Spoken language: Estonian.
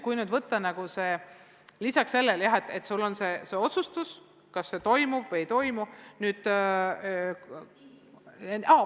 Kui nüüd võtta nagu see, et lisaks sellele on sul see otsus, kas see toimub või ei toimu ...